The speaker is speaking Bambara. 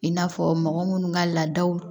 I n'a fɔ mɔgɔ munnu ka laadaw